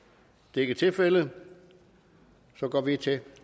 det er ikke tilfældet og så går vi til